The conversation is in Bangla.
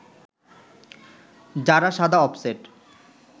যারা সাদা অফসেট